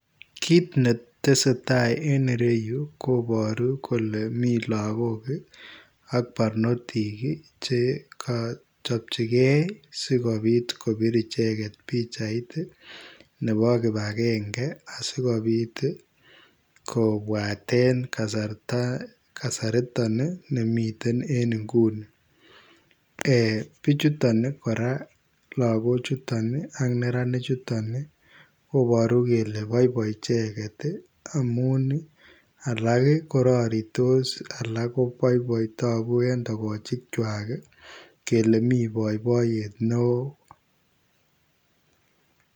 Kit netesee taa en yu koboru kole mi lagok ak barnotik ii chekochopchigee sikobit kobir icheget pichait nebo kipagenge asikobit kobwaten kasarta, kasariton nemiten en inguni ee bichuto koraa lagochuto ak neranichuton ii koboru kele boiboi icheget ii alak ii kororiitos alak koboiboi togu en togochikwak kole mi boiboiyet neo.